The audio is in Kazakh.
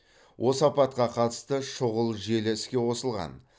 осы апатқа қатысты шұғыл желі іске қосылған